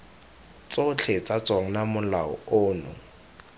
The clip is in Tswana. tsotlhe tsa tsona molao ono